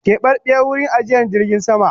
Kebabiyar wurin ajiye jirgin sama